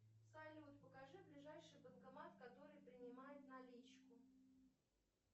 салют покажи ближайший банкомат который принимает наличку